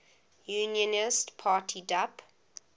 unionist party dup